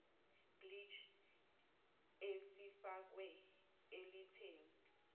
bleach esifakwe elitheni